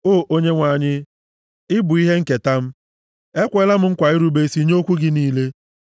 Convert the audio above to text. O Onyenwe anyị, ị bụ ihe nketa m; ekweela m nkwa irube isi nye okwu gị niile.